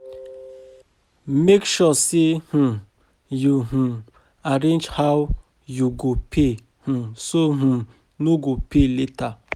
Mek sure say um yu um arrange how yu go pay um so yu no go pay late.